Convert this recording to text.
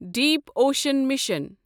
Dweep ocean mission